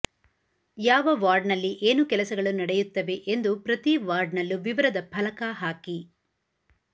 ಯಾವ ವಾರ್ಡ್ನಲ್ಲಿ ಏನು ಕೆಲಸಗಳು ನಡೆಯುತ್ತವೆ ಎಂದು ಪ್ರತಿವಾರ್ಡ್ನಲ್ಲೂ ವಿವರದ ಫಲಕ ಹಾಕಿ